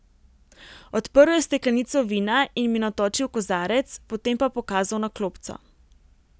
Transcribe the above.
Odprl je steklenico vina in mi natočil kozarec, potem pa pokazal na klopco.